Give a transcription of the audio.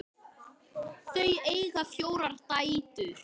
Þau eiga fjórar dætur.